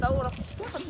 Ha ora düşdü.